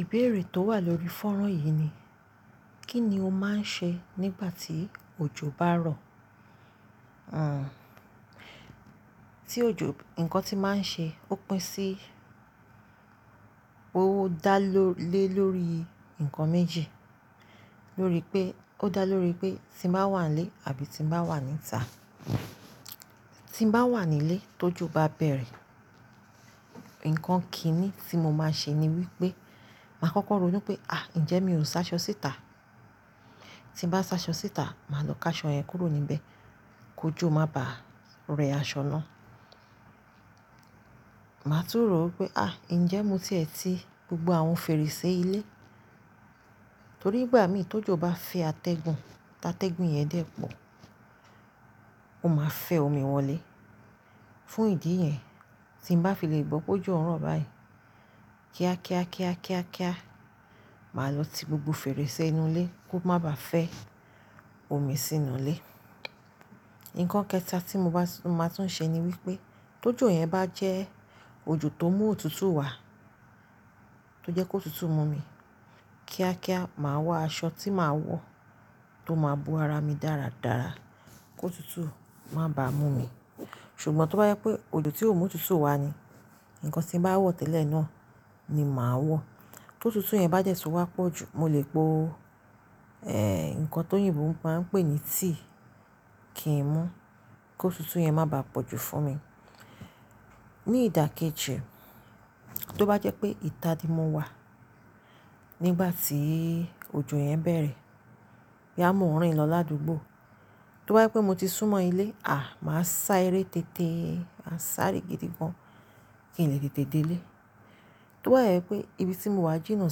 Ìbéèrè tó wà lórí fọ́nrán yìí ni, kí ni o máa ń ṣe nígbà tí òjò bá ń rọ̀? Àn, tí òjò, ǹkan tí màá ṣe ó pín sí pé ó dá ló ilé lórí ǹkan méjì. Lórí pé, ó dá lóri pé tí mo bá wà nílé àbí tí bá wà níta. Tí bá wà nílé tójò bá bẹ̀rẹ̀, ǹkan kíni tí mo máa ṣe ni wípé, màá kókó rònu pé, àa njẹ́ mi ò ṣáṣọ síta? Tí bá ṣáṣọ síta, màá lọ ká aṣọ yẹn kúrò níbẹ̀ kó jò má bá rẹ aṣọ náà. Màá tún rò pé, àa njẹ́ mo ti ẹ ti gbogbo àwọn fèrèsé ilé? Torí ìgbà mìíràn tójò bá fẹ́ atẹ́gun, táa tẹ́gun yẹn dẹ̀ pọ̀, ó máa fẹ́ omi wọlé. Fún ìdí yẹn, tí bá fi lè gbọ́ pé ojò ń rọ̀ báyìí, kíá kíá kíá kíá kíá, màá lọ ti gbogbo fèrèsé inú ilé kó má bá fẹ́ omi sínú ilé. Ǹkan kẹta tí mo bá, mo máa tún ṣe ni wípé, tó jò yẹn bá jẹ́ òjò tó mú òtútù wá, tó jẹ́ kó òtútù mú mi, kíá kíá màá wọ aṣọ tí màá wọ tó máa bo ara mi dáradára kó òtútù má bá mú mi. Ṣùgbọ́n tó bá jẹ́ pé òjò tí ò mú òtútù wá ni, ǹkan tí màá wọ̀ tẹ́lẹ̀ náà ni màá wọ̀. Kó òtútù yẹn bá dẹ́ tun wá pọ̀ jù, mo lè po, ẹ́, ǹkan ti oyinbo máa ń pè ní tea kí n mu kó òtútù yẹn má bá pọ̀ jù fún mi. Ní ìdákẹ́ji, tó bá jẹ́ pé ìta ni mo wà nígbà tí òjò yẹn bẹ̀rẹ̀, boya mọ̀ ọ́n rìn lọ ládùúgbò. Tó bá jẹ́ pé mo ti sún mọ ilé, àì máa sáré tété, màá sáré gidi gan kí n lè tètè dé ilé. Tó bá je pé ibi tí mo wà jìnnà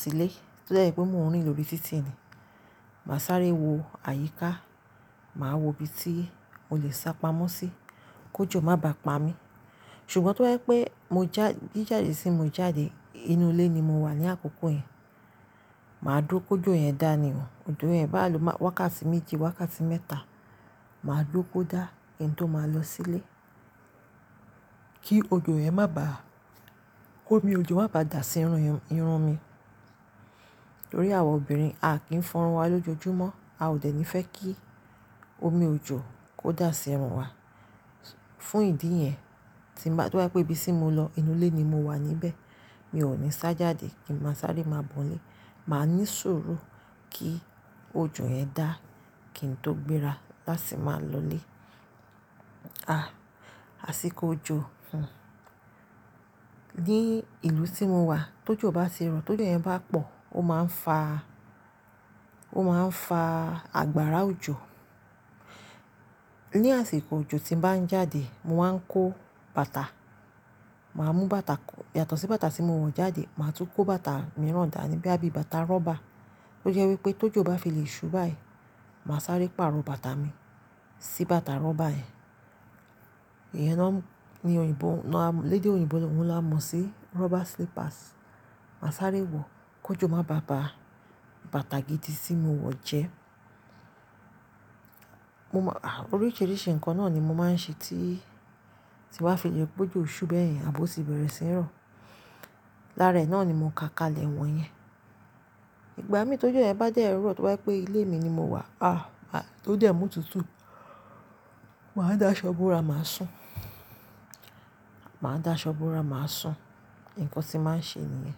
sí ilé, tó de je pé mò ń rìn lórí títì ni, màá sáré wo àyíká, màá wo ibi tí mo lè sá pamọ́ sí kó jò má bá pa mí. Ṣùgbọ́n tó bá jẹ́ pé mo já, bí jáde sí mo jáde, inú ilé ni mo wà ní àkókò yẹn, màá dúró kó jò yẹn dá ni o. Òjò yẹn bá wákàtí méjì, wákàtí mẹ́ta, màá dúró kó dá kí n tó máa lọ sí ilé. Kí òjò yẹn má bá, kó omi òjò má bá dà sí irun, irun mi. Nítorí àwọn obìnrin, a kìí fọrun wa lójoojúmọ́. A ò dẹ̀ ní fẹ́ kí omi òjò kó dà sí irun wa. Fún ìdí yẹn, tí bá, tó bá jẹ́ pé ibi tí mo lọ inú ilé ni mo wà níbẹ̀, mi ò ní sá jáde kí n má sáré má bọ́ nilé. Màá ní sùúrù kí òjò yẹn dá kí n tó gbéra láti máa lọ ilé. Ah, àsìkò òjò, hun. Ní ìlú tí mo wà, ti ojò bá ti rọ̀, ti ojo yẹ́n bá pọ̀, ó máa ń fa, ó máa ń fa agbára òjò. Ní àsìkò òjò tín bàá ń jáde, mo máa ń kó bàtà. Màá mú bàtà, yàtọ̀ sí bàtà tí mo wọ̀ jáde, màá tún kó bàtà mìíràn dà níbí, boya bí bàtà rọ́bà tó jẹ́ wípé tó jò bá fi lè ṣú báyìí, màá sáré pàrọ̀ bàtà mi sí bàtà rọ́bà yẹn. Ìyẹn náà ni oyinbo, náà lédè oyinboohun ni a mo sí rubber slippers. Màá sáré wọ̀ kó jò má bá ba bàtà gidi tí mo wọ̀ jẹ́. Mo má, àì, oríṣiríṣi ǹkan náà ni mo máa ń ṣe tí, tí ba fi lẹ́ ri pe ojò ṣú bẹ́ẹ̀ yẹn àbò ó sì bẹ̀rẹ̀ sí ń rọ̀. Lára ẹ̀ náà ni mo ka kalẹ̀ wọ̀nyẹn. Ìgbà mìíràn ti ojo yẹ́n bá dé ẹ́ rọ̀, tó bá jẹ́ pé ilé mi ni mo wà, àa, tó jẹ́ mú òtútù, màá dá aṣọ bóra, màá sùn. Màá dá aṣọ bóra, màá sùn. Ǹkan tí màá ń ṣe ni yẹn.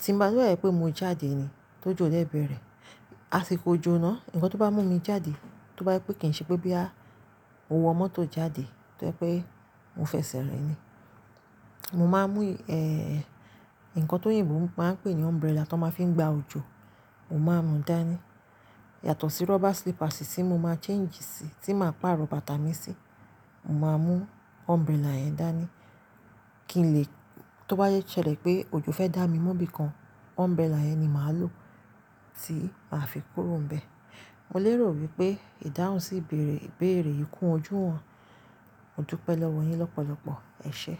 Tí bá dá ri pé mo jáde ni, ti ojò dẹ̀ bẹ̀rẹ̀, àsìkò òjò náà, ǹkan tó bá mú mi jáde, tó bá jẹ́ pé kì í ṣe pé boya mo wo moto jade, tó jẹ́ pé mo fẹsẹ̀ rìn ni, mo máa mú, ẹ́, ǹkan ti oyinbo máa ń pè ní umbrella tó máa ń fi gba òjò, mo máa mú dànní. Yàtọ̀ sí rubber slippers tí mo máa change sí, tí màá pàrọ̀ bàtà mi sí, mo máa mú umbrella yẹn dànní. Kí n lè, tó bá ṣẹlẹ̀ pé òjò fẹ́ dá mi mú nibí kan, umbrella yẹn ni màá lò tí màá fi kúrò níbẹ̀. Mo lérò wípé ìdáhùn sí ìbéèrè, ìbéèrè yìí kún ojú wọn. Modupẹ́ lọ́wọ́ yín lọ́pọ̀lọpọ̀, ẹ̀ ṣé.